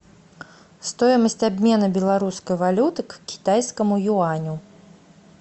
стоимость обмена белорусской валюты к китайскому юаню